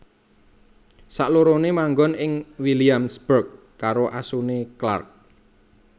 Saklorone manggon ing Williamsburg karo asune Clark